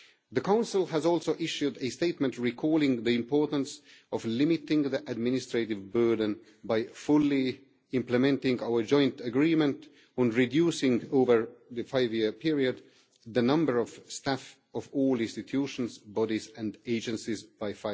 The Council has also issued a statement recalling the importance of limiting the administrative burden by fully implementing our joint agreement on reducing over the 5 year period the number of staff in all institutions, bodies and agencies by